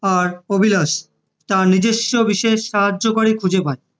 আর অভিলাষ তার নিজস্ব বিশেষ সাহায্যকারী খুঁজে পায়